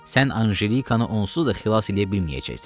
Sən Anjelikanı onsuz da xilas eləyə bilməyəcəksən.